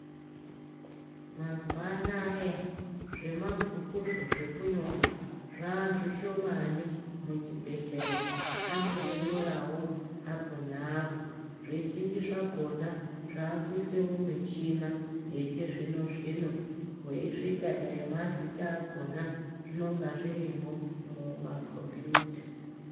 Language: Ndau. Mazuwanaya zvemabhukuzvo zvekunyora zvazvishomani muzvibhedhlera anondonyorawo apo neapo zvizhinji zvakona avakuiswe mumichina yechizvino zvino wechisvika dai mazita akona zvinenge zvirimwo mumakombiyuta.